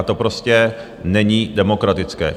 A to prostě není demokratické.